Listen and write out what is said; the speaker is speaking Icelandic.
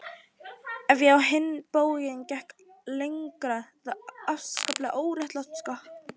Ef ég á hinn bóginn gekk lengra var ég afskaplega óréttlát.